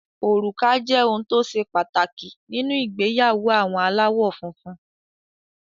Òrùka jẹ́ ohun tó ṣe pàtàkì nínú ìgbéyàwó àwọn aláwọ̀ funfun.